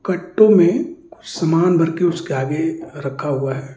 कट्टों में सामान भर के उसके आगे रखा हुआ है।